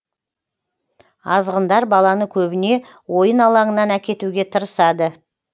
азғындар баланы көбіне ойын алаңынан әкетуге тырысады